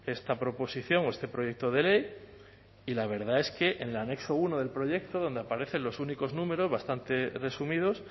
esta proposición o este proyecto de ley y la verdad es que en el anexo uno del proyecto donde aparecen los únicos números bastante resumidos